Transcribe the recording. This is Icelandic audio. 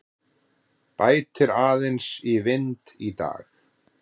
Bætir aðeins í vind í dag